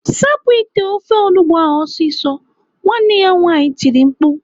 "Sapụ ite ofe onugbo ahụ ọsịsọ!" Nwanne ya nwaanyị tiri mkpu.